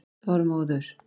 Þormóður